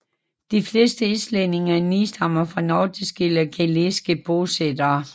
De fleste islændinge nedstammer fra nordiske eller gæliske bosættere